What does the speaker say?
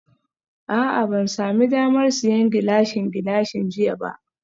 A'a ban sami damar siyan Gilashin Gilashin jiya ba